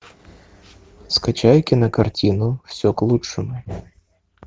скачай кинокартину все к лучшему